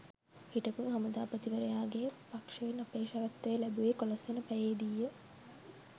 හිටපු හමුදාපතිවරයාගේ පක්ෂයෙන් අපේක්ෂකත්වය ලැබුවේ එකොළොස්වන පැයේ දීය